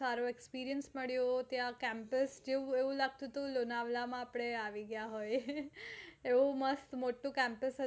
સારો experience મળ્યો ત્યાં campuse જેવું એવું લગતું હતું કે લોનાવલા માં આપણે આવી ગયા હોય